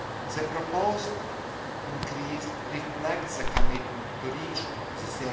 The proposed increase reflects the commitment to reach the